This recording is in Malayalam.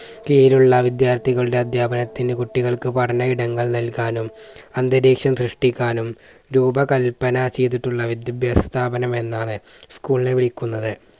കീഴിലുള്ള വിദ്യാർത്ഥികളുടെ അധ്യാപനത്തിന് കുട്ടികൾക്ക് പഠനഇടങ്ങൾ നൽകാനും അന്തരീക്ഷം സൃഷ്ടിക്കാനും രൂപകല്പന ചെയ്തിട്ടുള്ള വിദ്യഭ്യാസ സ്ഥാപനം എന്നാണ് school നെ വിളിക്കുന്നത്.